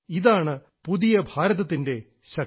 ഇതാണ് പുതിയ ഭാരതത്തിന്റെ ശക്തി